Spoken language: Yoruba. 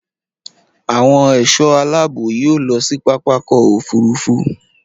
Àwọn ẹ̀ṣọ́ aláàbò yóò lọ sí pápákọ̀ òfúrufú